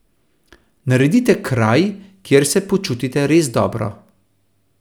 Naredite kraj, kjer se počutite res dobro.